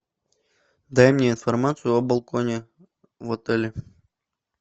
дай мне информацию о балконе в отеле